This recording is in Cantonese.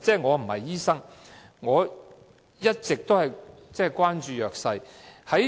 我不是醫生，而我一直關注弱勢社群。